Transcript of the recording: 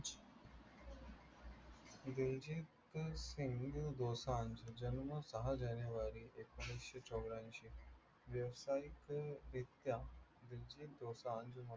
दिलजीत सिंघ दोसांज, जन्म सहा जानेवारी एकोणीसशे चौऱ्याएंशी, व्यवसायिकरित्या दिलजीत दोसांज